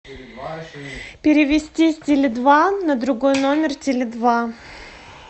перевести с теле два на другой номер теле два